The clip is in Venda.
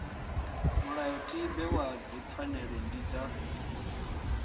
mulayotibe wa dzipfanelo dzi dza